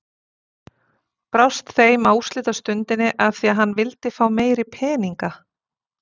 Brást þeim á úrslitastundinni af því að hann vildi fá meiri peninga!